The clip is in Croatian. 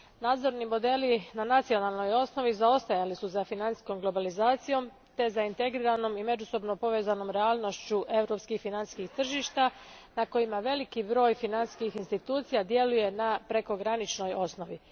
Nadzorni modeli na nacionalnoj osnovi zaostajali su za financijskom globalizacijom te zaintegriranom i međusobno povezanom realnošću europskih financijskih tržišta na kojima veliki broj financijskih institucija djeluje na prekograničnoj osnovi.